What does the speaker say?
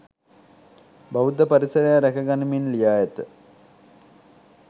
බෞද්ධ පරිසරය රැකගනිමින් ලියා ඇත.